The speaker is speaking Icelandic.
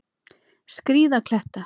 Skríða kletta.